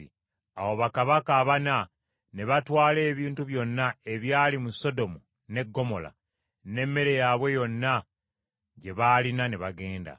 Awo bakabaka abana ne batwala ebintu byonna ebyali mu Sodomu ne Ggomola, n’emmere yaabwe yonna gye baalina ne bagenda.